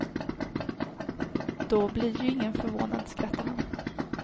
Då bli ju ingen förvånad, skrattar han.